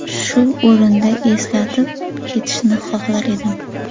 Shu o‘rinda eslatib ketishni xohlar edim.